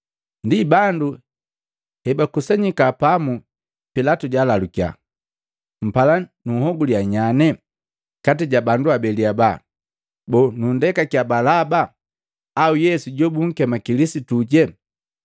Ndi bandu hebakusanyiki pamu, Pilatu jwaalalukia, “Mpala nunhogulia nyane kati ja bandu abeli haba? Boo, nundekakiya Balaba au Yesu jobunkema Kilisituje?”